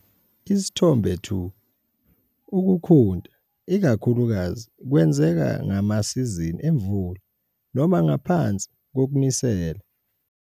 Isithombe 2- Ukukhunta ikakhulukazi kwenzeka ngemasizini emvula noma ngaphansi kokunisela.